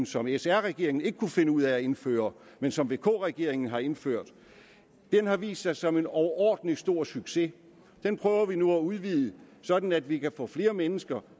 som sr regeringen ikke kunne finde ud af at indføre men som vk regeringen altså har indført den har vist sig som en overordentlig stor succes den prøver vi nu at udvide sådan at vi kan få flere mennesker